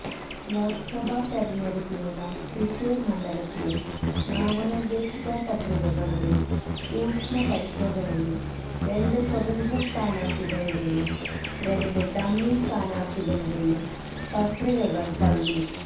ലോക്സഭാ തെരഞ്ഞെടുപ്പിനുള്ള തൃശൂര് മണ്ഡലത്തിലെ നാമനിര്ദ്ദേശ പത്രികകളുടെ സൂക്ഷ്മപരിശോധനയില് രണ്ട് സ്വതന്ത്ര സ്ഥാനാര്ഥികളുടെയും രണ്ട് ഡമ്മി സ്ഥാനാര്ഥികളുടെയും പത്രികകള് തള്ളി